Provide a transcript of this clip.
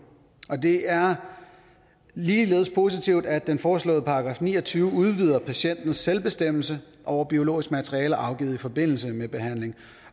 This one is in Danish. det er ligeledes positivt at den foreslåede § ni og tyve der udvider patientens selvbestemmelse over biologisk materiale afgivet i forbindelse med behandling